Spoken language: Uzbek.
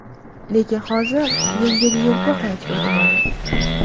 Lekin hozir yengil-yelpi hayotga o‘tib oldik.